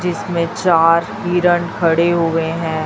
जिसमें चार हिरन खड़े हुए हैं।